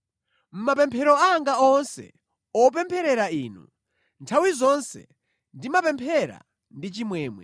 Mʼmapemphero anga onse opempherera inu, nthawi zonse ndimapemphera ndi chimwemwe